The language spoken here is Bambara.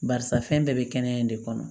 Barisa fɛn bɛɛ bɛ kɛnɛya in de kɔnɔ